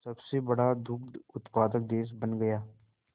सबसे बड़ा दुग्ध उत्पादक देश बन गया